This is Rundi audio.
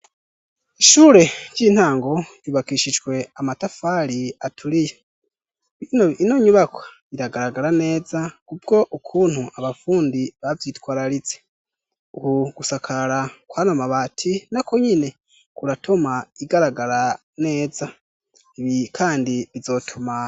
Ishure ry'intango yubakishijwe amatafali aturiya iinonyubaka iragaragara neza kubwo ukuntu abapfundi bavyitwararize uhu gusakara kwanoma bati na ko nyene kuratoma igaragara neza ibi, kandi bizotuwa.